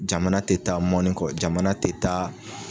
Jamana tɛ taa mɔni kɔ jamana tɛ taa